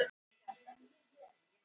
Aðstæður hafi verið hræðilegar